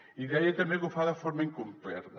i deia també que ho fa de forma incompleta